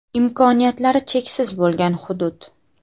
Imkoniyatlari cheksiz bo‘lgan hudud.